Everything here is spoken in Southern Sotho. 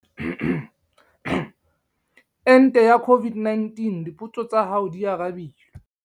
Ente ya COVID-19- Dipotso tsa hao di arabilwe